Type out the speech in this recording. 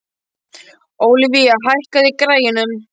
Olivia, hækkaðu í græjunum.